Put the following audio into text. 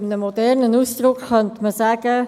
Ganz modern könnte man sagen: